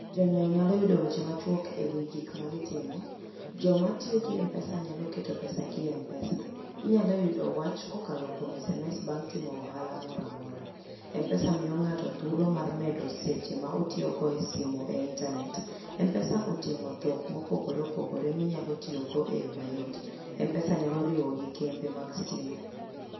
Jonyiewo nyalo yudo weche machuok e wi gik ma gitimo. Joma tiyo gi M-Pesa nyalo keto pesagi e M-Pesa. Inyalo yudo wach kokalo kuom SMS bang' timo ohala moro amora. M-Pesa miyo ng'ato thuolo mar medo seche ma otiyogo e simo e intanet. M-Pesa oting'o dhok mopogore opogore minyalo tiyogo e yo mayot. M-Pesa nyalo riwo gi kembe mag stima.